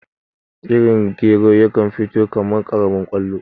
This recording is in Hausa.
Irin gero yakan fito kaman karamin kwallo